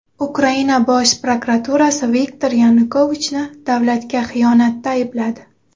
Ukraina bosh prokuraturasi Viktor Yanukovichni davlatga xiyonatda aybladi.